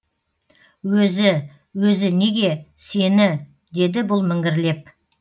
өзі өзі неге сені деді бұл міңгірлеп